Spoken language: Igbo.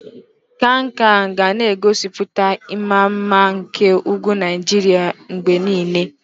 Kankia ga na-egosipụta ịma mma nke ugwu Naijiria mgbe niile.